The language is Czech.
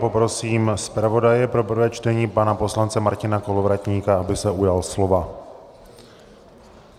Poprosím zpravodaje pro prvé čtení pana poslance Martina Kolovratníka, aby se ujal slova.